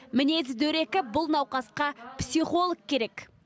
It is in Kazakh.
мінезі дөрекі бұл науқасқа психолог керек